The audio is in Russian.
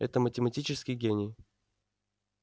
это математический гений